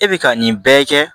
E bɛ ka nin bɛɛ kɛ